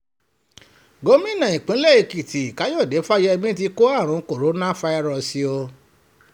gómìnà ìpínlẹ̀ èkìtì káyọ̀dé fáyemí ti kó àrùn kòǹgóláfàírọ́ọ̀sì o